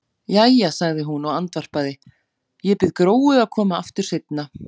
Jæja, sagði hún og andvarpaði, ég bið Gróu að koma aftur seinna.